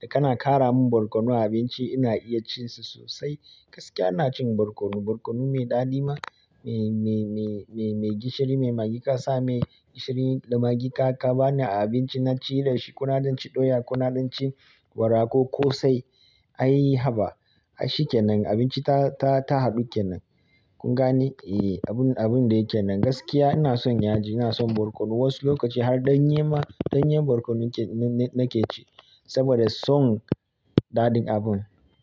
Da kana ƙara min barkono a abinci ina iya cin sa sosai. Gaskiya ina cin barkono, barkono me ɗadi ma, me, me, me, me, me gishiri, me magi kasa, me gishiri da magi ka, ka bani a abinci na ci da shi, ko na danci ɗoya, ko na danci wara ko kosai ai haba. Ai shi kenan abinci ta, ta, ta haɗu kenan. Kun gane? Eh, abun, abun da yake nan. Gaskiya ina son yaji, ina son barkono. Wasu lokaci har ɗanye ma, ɗanyen barkono ke, nake ci saboda son daɗin abun.